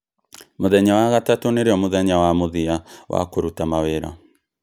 Mũthenya wa gatatũ nĩrĩo mũthenya wa mũthia wa kũruta mawĩra